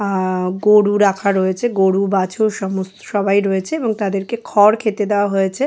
আ-আহ গরু রাখা রয়েছে গরু বাছুর সমস্ত সবাই রয়েছে এবং তাদেরকে খড় খেতে দেওয়া হয়েছে।